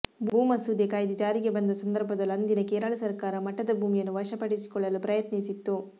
ಭೂ ಮಸೂದೆ ಕಾಯಿದೆ ಜಾರಿಗೆ ಬಂದ ಸಂದರ್ಭದಲ್ಲೂ ಅಂದಿನ ಕೇರಳ ಸರಕಾರ ಮಠದ ಭೂಮಿಯನ್ನು ವಶಪಡಿಸಿಕೊಳ್ಳಲು ಪ್ರಯತ್ನಿಸಿತ್ತು